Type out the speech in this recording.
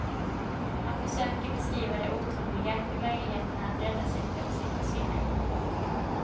Han försöker beskriva det otroliga, hur möjligheterna att rädda sig plötsligt försvinner.